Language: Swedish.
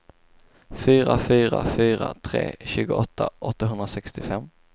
fyra fyra fyra tre tjugoåtta åttahundrasextiofem